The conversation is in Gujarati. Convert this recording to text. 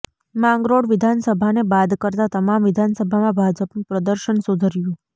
માંગરોળ વિધાનસભાને બાદ કરતાં તમામ વિધાનસભામાં ભાજપનું પ્રદર્શન સુધર્યું